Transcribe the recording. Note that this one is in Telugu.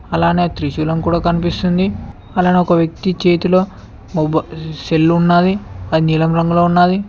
అలానే త్రిశూలం కూడా కనిపిస్తుంది అలానే ఒక వ్యక్తి చేతిలో మొబ సెల్లు ఉన్నాది అది నీలం రంగులో ఉన్నాది.